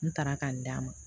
N taara ka n d'a ma